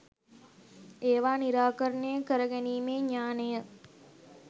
ඒවා නිරාකරණය කරගැනීමේ ඥාණය